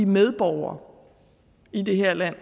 medborgere i det her land